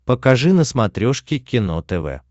покажи на смотрешке кино тв